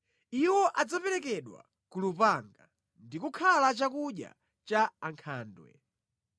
Iwo adzaperekedwa ku lupanga ndi kukhala chakudya cha ankhandwe.